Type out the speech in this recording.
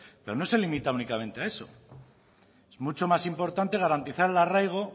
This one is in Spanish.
pero no se limita únicamente a eso es mucho más importante garantizar el arraigo